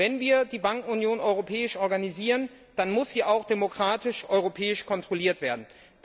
Wenn wir die Bankenunion europäisch organisieren, dann muss sie auch demokratisch europäisch kontrolliert werden.